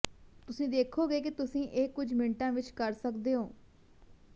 ਤੁਸੀਂ ਦੇਖੋਗੇ ਕਿ ਤੁਸੀਂ ਇਹ ਕੁਝ ਮਿੰਟਾਂ ਵਿੱਚ ਕਰ ਸਕਦੇ ਹੋ